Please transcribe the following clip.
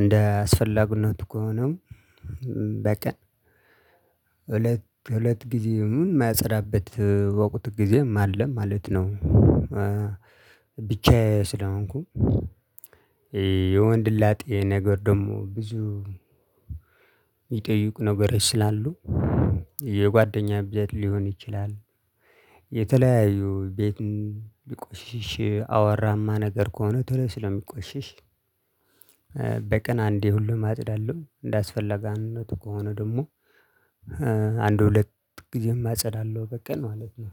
እንደ አስፈላጊነት ከሆነም በቀን ሁለት ሁለት ጊዜም የማጸዳበት ወቁት ጊዜም አለ ማለት ነው። ብቻዬን ስለሆንኩ የወንደ ላጤ ነገር ደግሞ ብዙ እሚጠይቁ ነገሮች ስላሉ የጓደኛ ቤት ሊሆን ይችላል። የተለያዩ ቤትን ሊቆሽሽ አቧራማ ነገር ከሆነ ቶሎ ስለሚቆሽሽ። በቀን አንዴ ሁሌም አጸዳለሁ እንዳስፈለገነቱ ከሆነ ደግሞ አንድ ሁለት ጊዜም አጸዳለሁ። በቀን ማለት ነው።